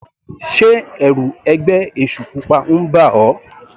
Sé ẹ̀rù ẹgbẹ́ èṣù pupa ń bà ọ́.